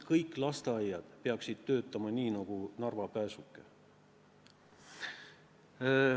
Kõik lasteaiad peaksid töötama nii nagu Narva Pääsuke.